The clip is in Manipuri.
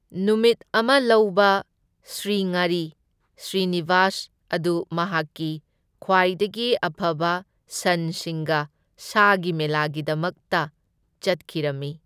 ꯅꯨꯃꯤꯠ ꯑꯃ ꯂꯧꯕ ꯁ꯭ꯔꯤꯉꯔꯤ ꯁ꯭ꯔꯤꯅꯤꯕꯥꯁ ꯑꯗꯨ ꯃꯍꯥꯛꯀꯤ ꯈꯨꯋꯥꯏꯗꯒꯤ ꯑꯐꯕ ꯁꯟꯁꯤꯡꯒ ꯁꯥꯒꯤ ꯃꯦꯂꯥꯒꯤꯗꯃꯛꯇ ꯆꯠꯈꯤꯔꯝꯃꯤ꯫